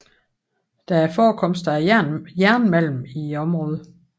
Der er forekomster af jernmalm i området